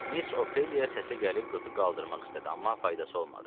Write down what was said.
Miss Ofeliya səsə gəlib qızı qaldırmaq istədi, amma faydası olmadı.